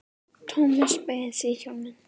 Thomas beygði sig í hnjánum.